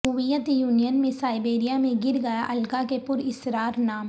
Soviet Union میں Siberia میں گر گیا الکا کے پراسرار نام